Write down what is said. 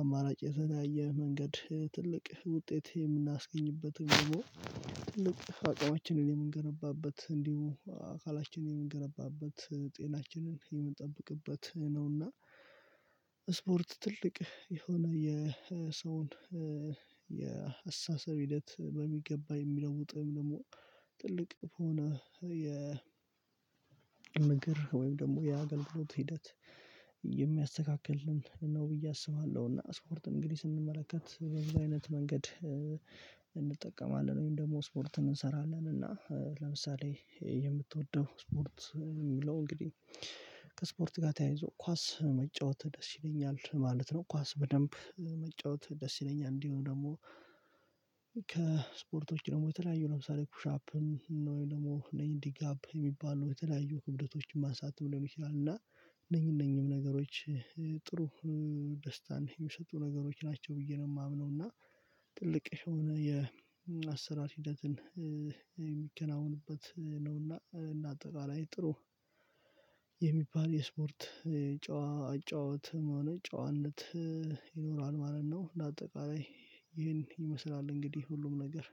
አማራጭ የተለያየ መንገድ ትልቅ ውጤት የምናስገኝበትም ደግሞ አቅማችንን የምንገነባበት እንዲሁ አካላችንን የምንገነባበት ጤናችንን የምንጠብቅበት ነውና። ስፖርት ትልቅ የሆነ የሰውን የአሰሳሰብ ሂደት በሚገባ የሚለውጥም ደግሞ ትልቅ በሆነ የ ንግር ወይም ደግሞ የአገልግሎት ሂደት የሚያስተካክል ነው ብዬ አስባለሁ። እና ስፖርት እንግዲህ ስንመለከት በዚህ አይነት መንገድ እንጠቀማለን ወይም ደግሞ ስፖርትን እንሰራለን እና ለምሳሌ የምትወደው ስፖርት የሚለው እንግዲህ ከስፖርት ጋር ተያይዞ ኳስ መጫወት ደስ ይለኛል ማለት ነው። ኳስ በደንብ መጫወት ደስ ይለኛል። እንዲሆም ደግሞ ከስፖርቶች ደግሞ የተለያዩ ለምሳሌ ኩሻፕን ወይ ደግሞ እኔ እንኚ ዲጋፕ የሚባለው የተለያዩ ክብደቶችን ማሳተም ሊሆን ይችላል እና እነኚህ እነኚህም ነገሮች ጥሩ ደስታን የሚሰጡ ነገሮች ናቸው ብዬ ነው የማምነው። እና ትልቅ የሆነ የአሰራር ሂደትን የሚከናውንበት ነውና እና አጠቃላይ ጥሩ የሚባል የስፖርት የጨዋ አጨዋወትም ሆነ ጨዋነት ይኖራል ማለት ነው። ለአጠቃላይ ይህን ይመስላል እንግዲህ ሁሉም ነገር